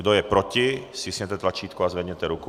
Kdo je proti, stiskněte tlačítko a zvedněte ruku.